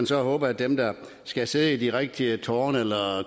så håbe at dem der skal sidde i de rigtige tårne eller